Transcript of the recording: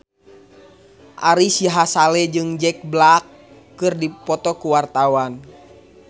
Ari Sihasale jeung Jack Black keur dipoto ku wartawan